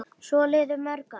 Svo liðu mörg ár.